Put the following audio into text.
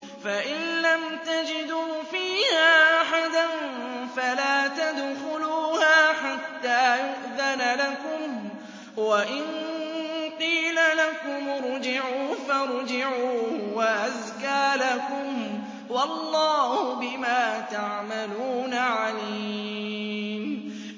فَإِن لَّمْ تَجِدُوا فِيهَا أَحَدًا فَلَا تَدْخُلُوهَا حَتَّىٰ يُؤْذَنَ لَكُمْ ۖ وَإِن قِيلَ لَكُمُ ارْجِعُوا فَارْجِعُوا ۖ هُوَ أَزْكَىٰ لَكُمْ ۚ وَاللَّهُ بِمَا تَعْمَلُونَ عَلِيمٌ